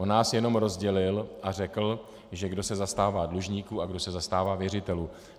On nás jenom rozdělil a řekl, že kdo se zastává dlužníků a kdo se zastává věřitelů.